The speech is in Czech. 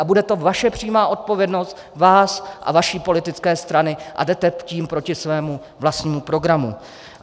A bude to vaše přímá odpovědnost, vás a vaší politické strany, a jdete tím proti svému vlastnímu programu.